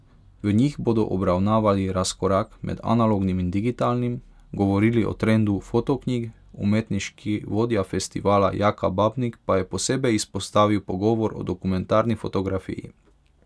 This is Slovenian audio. V njih bodo obravnavali razkorak med analognim in digitalnim, govorili o trendu fotoknjig, umetniški vodja festivala Jaka Babnik pa je posebej izpostavil pogovor o dokumentarni fotografiji.